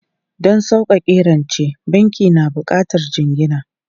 Don sauƙaƙe rance, banki na buƙatar jingina.